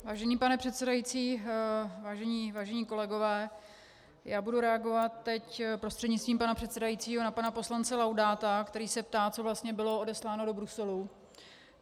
Vážený pane předsedající, vážení kolegové, já budu reagovat teď prostřednictvím pana předsedajícího na pana poslance Laudáta, který se ptá, co vlastně bylo odesláno do Bruselu.